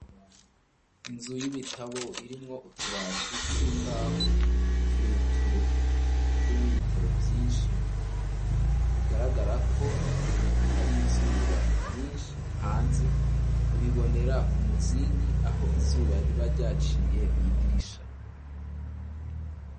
Inzu y'ibitabo irimwo utubati tw'imbaho tureture turimwo ibitabo vyishi bigaragara ko hari izuba ryishi hanze uribonera ku muzingi aho izuba riba ryaciye mw'idirisha.